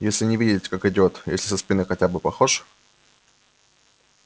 если не видеть как идёт если со спины хотя бы похож